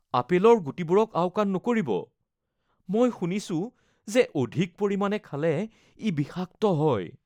আপেলৰ গুটিবোৰক আওকাণ নকৰিব, মই শুনিছো যে অধিক পৰিমাণে খালে ই বিষাক্ত হয়